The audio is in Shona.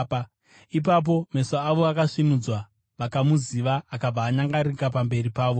Ipapo meso avo akasvinudzwa vakamuziva, akabva anyangarika pamberi pavo.